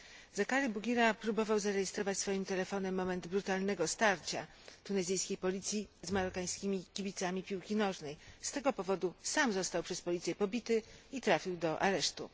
Zakaria Bouguira próbował zarejestrować swoim telefonem moment brutalnego starcia tunezyjskiej policji z marokańskimi kibicami piłki nożnej. Z tego powodu sam został przez policję pobity i trafił do aresztu.